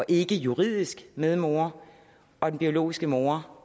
ikkejuridisk medmor og den biologiske mor